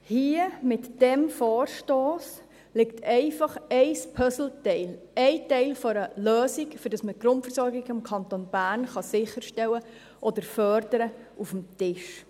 Hier, mit diesem Vorstoss, liegt ein Puzzleteil, ein Teil einer Lösung, damit wir die Grundversorgung im Kanton Bern sicherstellen oder fördern können, auf dem Tisch.